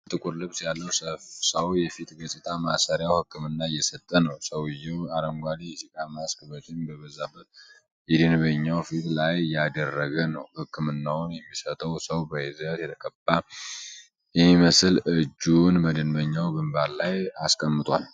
ባለ ጥቁር ልብስ ያለው ሰው የፊት ገጽታ ማሳመሪያ ሕክምና እየሰጠ ነው። ሰውዬው አረንጓዴ የጭቃ ማስክ በጢም በበዛበት የደንበኛው ፊት ላይ እያደረገ ነው። ሕክምናውን የሚሰጠው ሰው በዘይት የተቀባ የሚመስል እጁን በደንበኛው ግንባር ላይ አስቀምጧል።